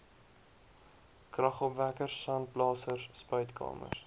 kragopwekkers sandblasers spuitkamers